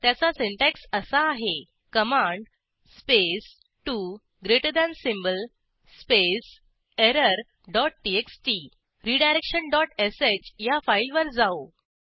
त्याचा सिंटॅक्स असा आहे command space 2 greater than space error dot TXT redirection dot sh या फाईलवर जाऊ